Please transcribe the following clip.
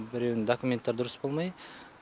біреуінің документтері дұрыс болмай